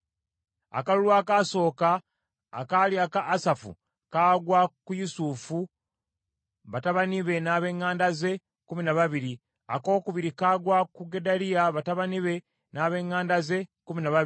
Akalulu akaasooka akaali aka Asafu kagwa ku Yusufu, batabani be n’ab’eŋŋanda ze, kkumi na babiri; akookubiri kagwa ku Gedaliya, batabani be, n’ab’eŋŋanda ze, kkumi na babiri;